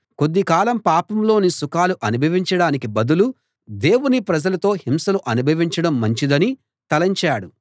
కొద్ది కాలం పాపంలోని సుఖాలు అనుభవించడానికి బదులు దేవుని ప్రజలతో హింసలు అనుభవించడం మంచిదని తలంచాడు